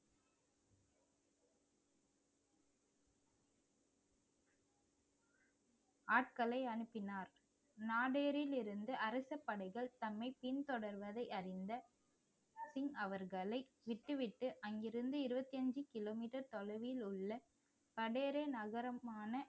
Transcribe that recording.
ஆட்களை அனுப்பினார் நாடேரில் இருந்து அரசப் படைகள் தம்மை பின்தொடர்வதை அறிந்த பின் அவர்களை விட்டுவிட்டு அங்கிருந்து இருபத்தி அஞ்சு கிலோமீட்டர் தொலைவில் உள்ள கடையறி நகரமான